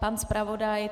Pan zpravodaj?